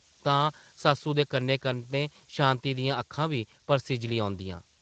तां सस्सू दे कन्नै-कन्नै शांति दियां अक्खां बी परसिज्जली औंदियां ।